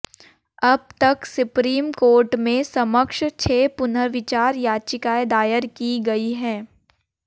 अब तक supreme court के समक्ष छह पुनर्विचार याचिकाएं दायर की गई हैं